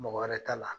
Mɔgɔ wɛrɛ ta la